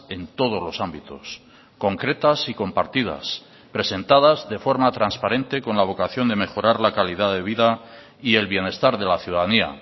en todos los ámbitos concretas y compartidas presentadas de forma transparente con la vocación de mejorar la calidad de vida y el bienestar de la ciudadanía